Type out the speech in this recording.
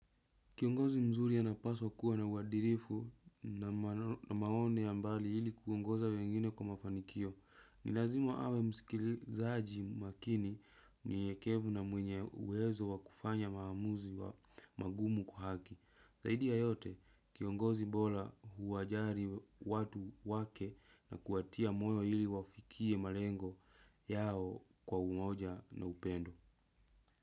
Kiongozi mzuri anapaswa kuwa na uwadirifu na maoni ya mbali ili kuongoza wengine kwa mafanikio. Ni lazima awe msikilizaji makini mnyenyekevu na mwenye uwezo wakufanya maamuzi wa magumu kwa haki. Zaidi ya yote, kiongozi bora huwajali watu wake na kuwatia moyo ili wafikie malengo yao kwa umoja na upendo.